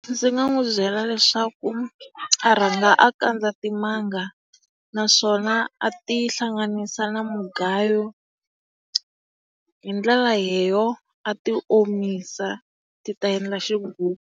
Ndzi nga n'wi byela leswaku a rhanga a kandza timanga naswona a ti hlanganisa na mugayo. Hi ndlela a ti omisa ti ta endla xigugu.